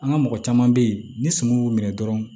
An ka mɔgɔ caman bɛ ye ni suman y'u minɛ dɔrɔn